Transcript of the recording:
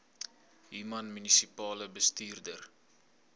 human munisipale bestuurder